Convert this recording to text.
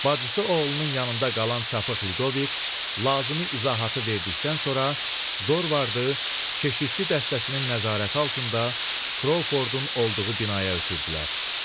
Bacısı oğlunun yanında qalan çapıq Lidovik, lazımi izahatı verdikdən sonra Dorvardı keşişçi dəstəsinin nəzarəti altında Krovfordun olduğu binaya ötürdülər.